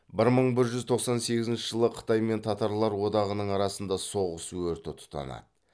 бір мың бір жүз тоқсан сегізінші жылы қытай мен татарлар одағының арасында соғыс өрті тұтанады